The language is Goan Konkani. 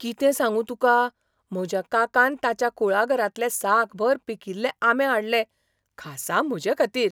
कितें सांगूं तुका, म्हज्या काकान ताच्या कुळागरांतले साकभर पिकिल्ले आंबे हाडले, खासा म्हजेखातीर.